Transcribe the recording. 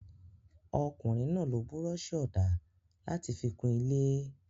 Ọkùnrin náà lo búrọ́ṣì-ọ̀dà láti fi kun ilé?